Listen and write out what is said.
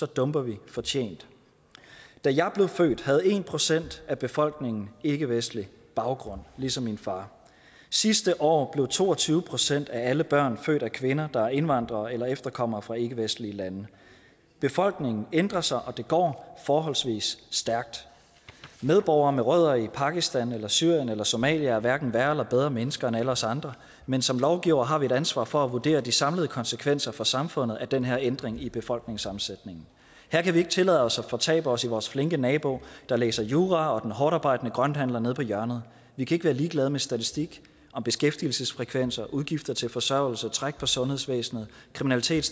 dumper vi fortjent da jeg blev født havde en procent af befolkningen ikkevestlig baggrund ligesom min far sidste år blev to og tyve procent af alle børn født af kvinder der er indvandrere eller efterkommere fra ikkevestlige lande befolkningen ændrer sig og det går forholdsvis stærkt medborgere med rødder i pakistan syrien eller somalia er hverken værre eller bedre mennesker end alle os andre men som lovgivere har vi et ansvar for at vurdere de samlede konsekvenser for samfundet af den her ændring i befolkningssammensætningen her kan vi ikke tillade os at fortabe os i vores flinke nabo der læser jura og den hårdtarbejdende grønthandler nede på hjørnet vi kan ikke være ligeglade med statistik om beskæftigelsesfrekvenser udgifter til forsørgelse træk på sundhedsvæsenet kriminalitet